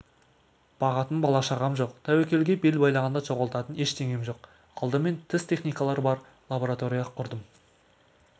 бағатын бала-шағам жоқ тәуекелге бел байлағанда жоғалтатын ештеңем жоқ алдымен тіс техникалары бар лаборатория құрдым